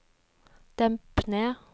demp ned